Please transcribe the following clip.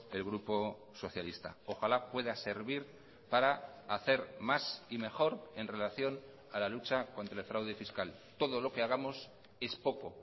el grupo socialista ojalá pueda servir para hacer más y mejor en relación a la lucha contra el fraude fiscal todo lo que hagamos es poco